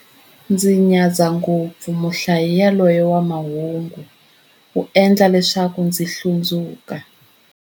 Ndzi nyadza ngopfu muhlayi yaloye wa mahungu, u endla leswaku ndzi hlundzuka.